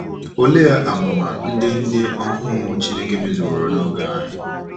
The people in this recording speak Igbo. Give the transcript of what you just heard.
Olee amụma ndị ndị ohu Chineke mezuworo n’oge anyị?